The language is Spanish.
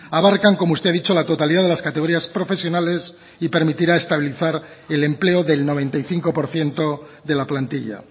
abarcan como usted ha dicho la totalidad de las categorías profesionales y permitirá estabilizar el empleo del noventa y cinco por ciento de la plantilla